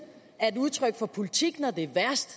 er udtryk for politik når det er værst